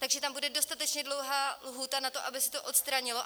Takže tam bude dostatečně dlouhá lhůta na to, aby se to odstranilo.